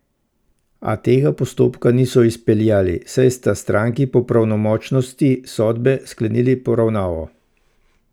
A tega postopka niso izpeljali, saj sta stranki po pravnomočnosti sodbe sklenili poravnavo.